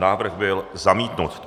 Návrh byl zamítnut.